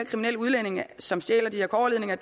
kriminelle udlændinge som stjæler de her kobberledninger